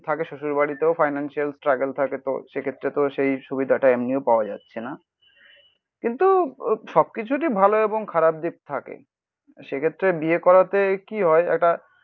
থাকে শ্বশুরবাড়িতেও financial struggle থাকে তো সেক্ষেত্রে তো সেই সুবিধাটা এমনিও পাওয়া যাচ্ছে না. কিন্তু সব কিছুরই ভালো এবং খারাপ দিক থাকে সেক্ষেত্রে বিয়ে করাতে কি হয় একটা